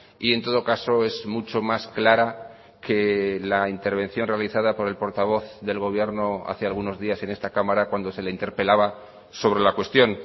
y en todo caso es mucho más clara que la intervención realizada por el portavoz del gobierno hace algunos días en esta cámara cuando se le interpelaba sobre la cuestión